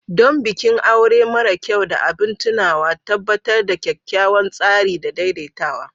Don bikin aure mara kyau da abin tunawa, tabbatar da kyakkyawan tsari da daidaitawa.